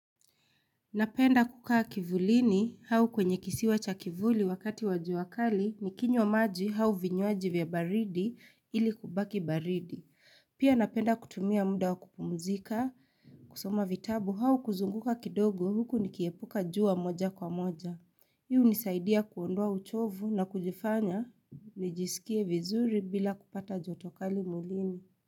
Napenda kukaa kivulini hau kwenye kisiwa cha kivuli wakati wajua. Kali ni kinywa maji hau vinywaji vya baridi ili kubaki baridi. Pia napenda kutumia muda wakupumuzika kusoma vitabu hau kuzunguka kidogo huku nikiepuka juwa moja kwa moja. Hii hunisaidia kuondua uchovu na kujifanya nijisikie vizuri bila kupata jotokali mwilini.